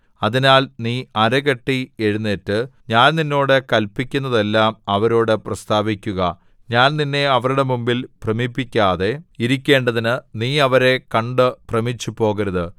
അതിനാൽ നീ അരകെട്ടി എഴുന്നേറ്റ് ഞാൻ നിന്നോട് കല്പിക്കുന്നതെല്ലാം അവരോടു പ്രസ്താവിക്കുക ഞാൻ നിന്നെ അവരുടെ മുമ്പിൽ ഭ്രമിപ്പിക്കാതെ ഇരിക്കേണ്ടതിന് നീ അവരെ കണ്ടു ഭ്രമിച്ചുപോകരുത്